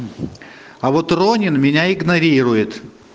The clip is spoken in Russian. а вот ронин меня игнорирует